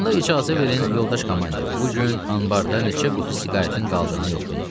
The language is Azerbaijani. Onda icazə verin yoldaş komandir, bu gün anbarda neçə qutu siqaretin qaldığını yoxlayım.